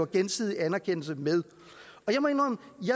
gensidig anerkendelse med